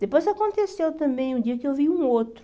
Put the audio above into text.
Depois aconteceu também um dia que eu vi um outro.